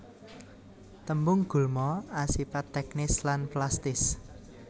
Tembung gulma asipat teknis lan plastis